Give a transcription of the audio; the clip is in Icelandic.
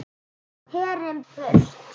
Herinn burt!